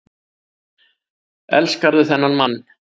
Elskarðu þennan mann?